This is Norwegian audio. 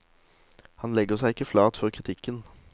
Han legger seg ikke flat for kritikken.